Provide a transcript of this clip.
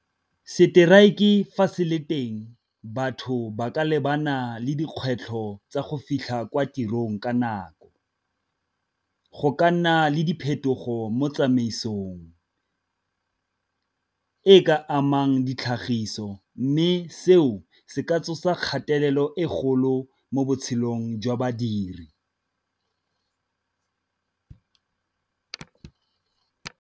Strike fa se le teng batho ba ka lebana le dikgwetlho tsa go fitlha kwa tirong ka nako. Go ka nna le diphetogo mo tsamaisong, e ka amang ditlhagiso mme seo se ka tsosa kgatelelo e golo mo botshelong jwa badiri.